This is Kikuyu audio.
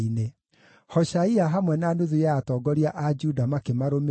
Hoshaia hamwe na nuthu ya atongoria a Juda makĩmarũmĩrĩra,